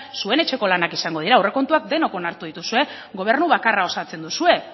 zuen etxeko lanak izango dira aurrekontuak denok onartu dituzue gobernu bakarra osatzen duzue